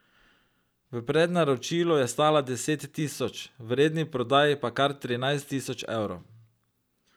V prednaročilu je stala deset tisoč, v redni prodaji pa kar trinajst tisoč evrov.